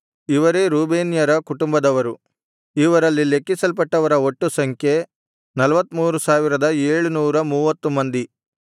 ಇವೇ ರೂಬೇನ್ಯರ ಕುಟುಂಬದವರು ಇವರಲ್ಲಿ ಲೆಕ್ಕಿಸಲ್ಪಟ್ಟವರ ಒಟ್ಟು ಸಂಖ್ಯೆ 43730 ಮಂದಿ